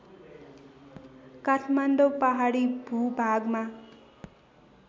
काठमाडौँ पहाडी भूभागमा